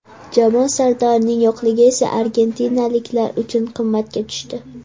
Jamoa sardorining yo‘qligi esa argentinaliklar uchun qimmatga tushdi.